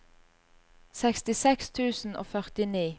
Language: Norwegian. sekstiseks tusen og førtini